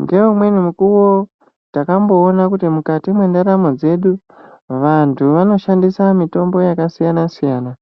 Ngeumweni mukuwo takamboona kuti mukati mwendaramo dzedu vantu vanoshandisa mitombo yakasiyana siyana,